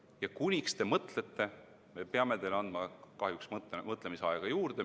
Ja kuna te mõtlete, siis me peame teile kahjuks mõtlemisaega juurde andma.